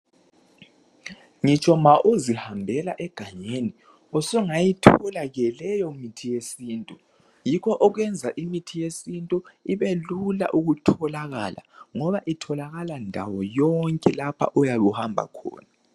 ngitsho ma uzihambela egangeni usungayithola ke leyo mithi yesintu yikho okwenza imithi yesintu ibe lula ukutholakala ngoba itholakala ndawo yonke lapha oyabe uhamba khona